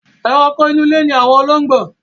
Ẹranko inú ilé ni àwọn olóngbò.